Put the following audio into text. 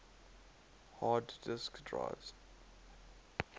hard disk drives